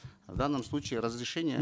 в данном случае разрешение